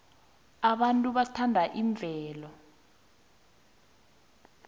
abantu bathanda imvelo